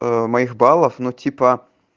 моих баллов но типа